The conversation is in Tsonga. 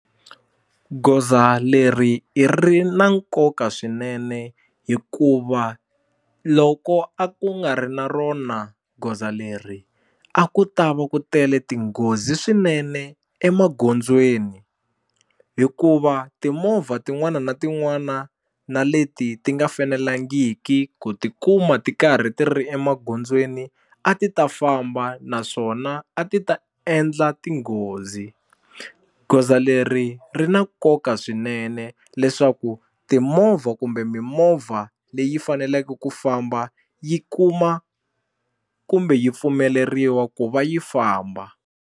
Goza leri i ri na nkoka swinene hikuva loko a ku nga ri na rona goza leri a ku ta va ku tele tinghozi swinene emagondzweni hikuva timovha tin'wana na tin'wana na leti ti nga fenelangiki ku tikuma ti karhi ti ri emagondzweni a ti ta famba naswona a ti ta endla tinghozi goza leri ri na nkoka swinene leswaku timovha kumbe mimovha leyi faneleke ku famba yi kuma kumbe yi pfumeleriwa ku va yi famba.